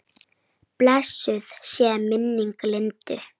Blessuð sé minning Lindu.